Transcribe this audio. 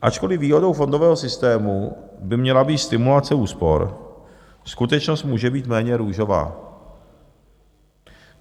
Ačkoliv výhodou fondového systému by měla být stimulace úspor, skutečnost může být méně růžová.